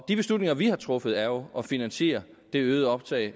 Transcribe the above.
de beslutninger vi har truffet er jo at finansiere det øgede optag